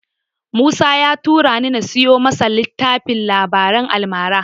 Musa ya turani na siyo masa littafin labaran almara.